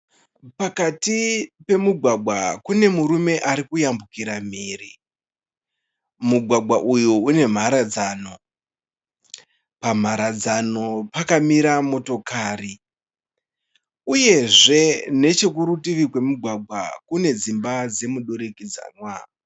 Pakati pemugwagwa, kune murume ari kuyambukira mhiri. Mugwagwa uyu une mharadzano, pamharadzano pakamira motokari. Uyezve neche kurutivi kwemugwagwa kune dzimba dzemudurikidzanwa.